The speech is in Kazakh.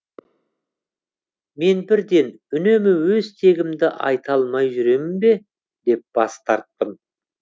мен бірден үнемі өз тегімді айта алмай жүремін бе деп бас тарттым